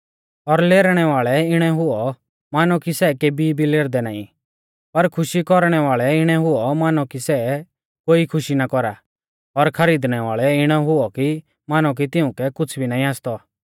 और लेरनै वाल़ै इणै हुऔ मानौ कि सै केभी भी लेरदै नाईं और खुशी कौरणै वाल़ै इणै हुऔ मानौ कि सै कोई खुशी ना कौरा और खरीदणै वाल़ै इणै हुऔ कि मानौ कि तिऊं कै कुछ़ भी नाईं आसतौ